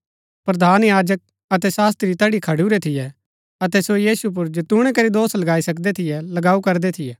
प्रधान याजक अतै शास्त्री तैठी खड़िऊरै थियै अतै सो यीशु पुर जैतूणै करी दोष लगाई सकदै थियै लगाऊ करदै थियै